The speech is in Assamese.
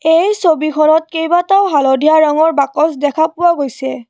এই ছবিখনত কেবাটাও হালধীয়া ৰঙৰ বাকচ দেখা পোৱা গৈছে।